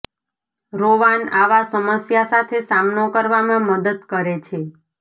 Rowan આવા સમસ્યા સાથે સામનો કરવામાં મદદ કરે છે